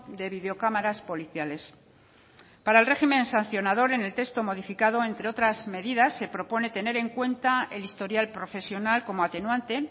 de videocámaras policiales para el régimen sancionador en el texto modificado entre otras medidas se propone tener en cuenta el historial profesional como atenuante